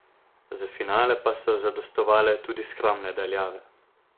Za finale pa so zadostovale tudi skromne daljave.